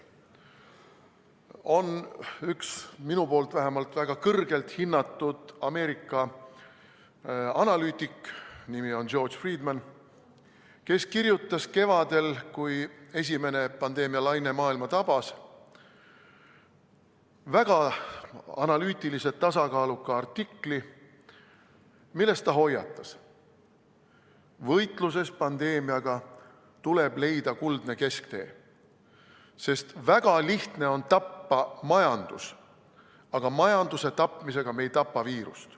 On üks, vähemalt minu poolt väga kõrgelt hinnatud Ameerika analüütik, nimi on George Friedman, kes kirjutas kevadel, kui esimene pandeemialaine maailma tabas, väga analüütilise, tasakaaluka artikli, milles ta hoiatas: võitluses pandeemiaga tuleb leida kuldne kesktee, sest väga lihtne on tappa majandus, aga majanduse tapmisega ei tapa me viirust.